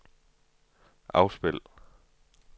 afspil